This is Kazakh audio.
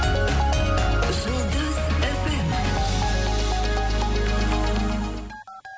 жұлдыз эф эм